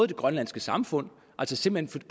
det grønlandske samfund altså simpelt